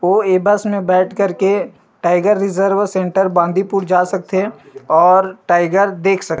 वो ये बस मे बैठ कर के टाइगर रिज़र्व सेन्टर बांदीपुर जा सकथे और टाइगर देख सकथे --